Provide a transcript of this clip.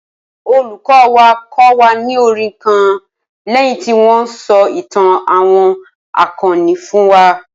Olùkọ́ wa kọ́ wa ní orin kan lẹ́yìn tí wọ́n sọ ìtàn àwọn akọni fún wa